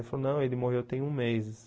Ele falou, não, ele morreu tem um mês.